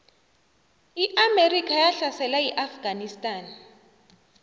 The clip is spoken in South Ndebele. iamerika yahlasela iafganistan